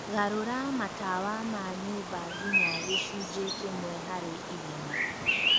garũra matawa ma nyũmba nginya gĩcunjĩ kĩmwe harĩ igana